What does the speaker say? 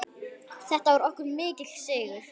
Þetta var okkur mikill sigur.